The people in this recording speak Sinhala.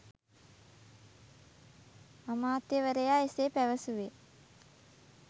අමාත්‍යවරයා එසේ පැවසුවේ